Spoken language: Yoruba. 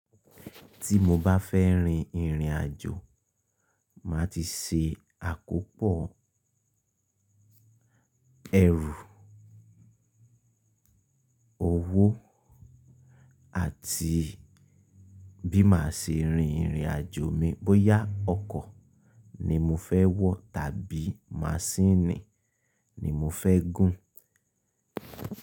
Tí mo bá fẹ́ rin ìrìnàjò, màá ti ṣe àkópọ̀ ẹrù, owó àti bí màá ṣe rin ìrìnàjò mi. Bóyá ọkọ̀ ni mo fẹ́ wọ̀ tàbí maṣíìnì ni mo fẹ́ gùn.